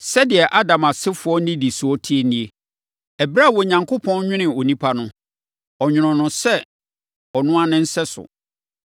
Sɛdeɛ Adam asefoɔ nnidisoɔ teɛ nie. Ɛberɛ a Onyankopɔn nwonoo onipa no, ɔnwonoo no sɛ ɔno ara ne sɛso.